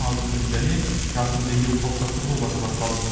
азық түлік және жасыл белдеу қалыптастыру жобасы басталды